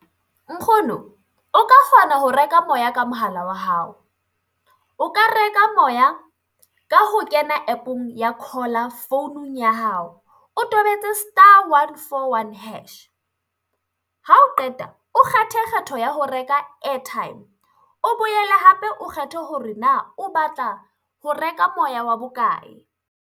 Nkgono o ka kgona ho reka moya ka mohala wa hao, o ka reka moya ka ho kena app-ong ya Caller founung ya hao, o tobetse star one, four, one, hash, ha o qeta o kgethe kgetho ya ho reka airtime, o boele hape o kgethe hore na o batla ho reka moya wa bokae.